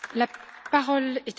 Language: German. Frau Präsidentin!